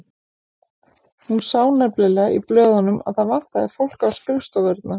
Hún sá nefnilega í blöðunum að það vantaði fólk á skrifstofurnar.